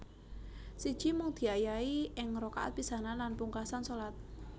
Siji Mung diayahi ing rakaat pisanan lan pungkasan shalat